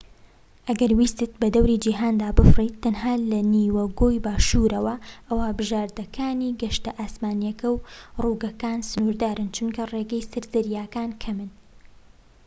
ئەگەر ویستت بەدەوری جیهاندا بفڕیت تەنها لە نیوە گۆی باشوورەوە ئەوا بژاردەکانی گەشتە ئاسمانیەکە و ڕووگەکان سنوردارن چونکە ڕێگەی سەر زەریاکان کەمن